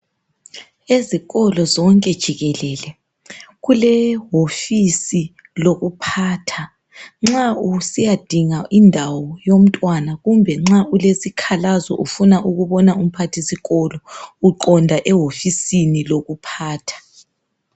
Ezikolo zonke jikelele, kulehofisi lokuphatha, nxa usiyadinga indawo yomntwana kumbe nxa ulesikhalazo ufuna ukubona uMpathisikolo uqonda ehofisini lokuphatha.